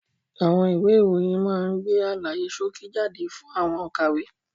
Àwọn ìwé ìròyìn máa ń gbé àlàyé ṣókí jáde fún àwọn òkàwé.